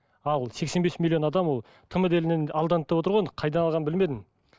ал сексен бес миллион адам ол тмд елінен алданды деп отыр ғой енді қайдан алғанын білмедім